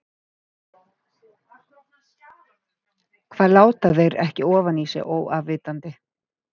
Hvað láta þeir ekki ofan í sig óafvitandi?